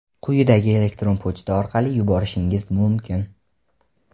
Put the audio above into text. quyidagi elektron pochta orqali yuborishingiz mumkin:.